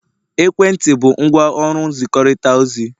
ekwentị bụ ngwaọrụ nzikọrịta ozi